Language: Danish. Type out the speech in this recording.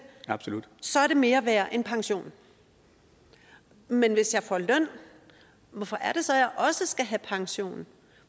så er det mere værd end pension men hvis jeg får løn hvorfor er det så jeg også skal have pension